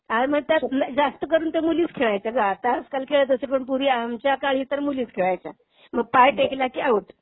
आज म्हणजे जास्त करून तर मुलीच खेळायच्या ग. आता आजकाल खेळत असतील पण पूर्वी आमच्या काळी तर तर मुलीच खेळायच्या. मग पाय टेकला की आऊट.